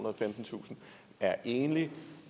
og femtentusind er enlig